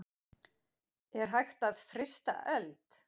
Er hægt að frysta eld?